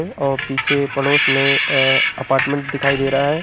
और पीछे पड़ोस में अ अपार्टमेंट दिखाई दे रहा है।